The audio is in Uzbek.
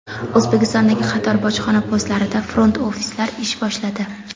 O‘zbekistondagi qator bojxona postlarida front-ofislar ish boshladi.